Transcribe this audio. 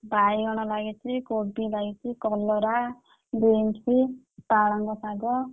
ବାଇଗଣ ଲାଗି ଛି,~ କୋବି ଲାଗି ଛି,~ କଲରା, beans ପାଳଙ୍ଗ ଶାଗ।